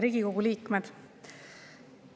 Riigikogu liikmed!